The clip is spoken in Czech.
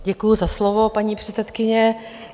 Děkuji za slovo, paní předsedkyně.